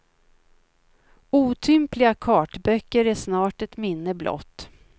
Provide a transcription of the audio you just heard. Otympliga kartböcker är snart ett minne blott.